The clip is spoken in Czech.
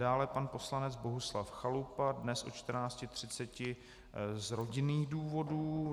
Dále pan poslanec Bohuslav Chalupa dnes od 14.30 z rodinných důvodů.